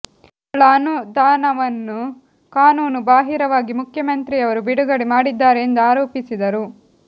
ಗಳ ಅನುದಾನವನ್ನು ಕಾನೂನು ಬಾಹಿರವಾಗಿ ಮುಖ್ಯಮಂತ್ರಿಯವರು ಬಿಡುಗಡೆ ಮಾಡಿದ್ದಾರೆ ಎಂದು ಆರೋಪಿಸಿದರು